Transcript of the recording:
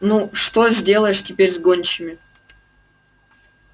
но что сделаешь теперь с гончими